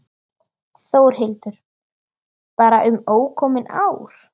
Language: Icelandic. Þórhildur: Bara um ókomin ár?